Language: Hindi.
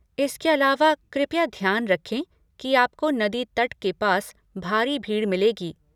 इसके अलावा, कृपया ध्यान रखें कि आपको नदी तट के पास भारी भीड़ मिलेगी।